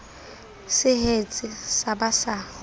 se hetse sa ba sa